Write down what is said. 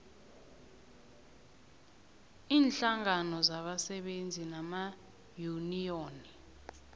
iinhlangano zabasebenzi namayuniyoni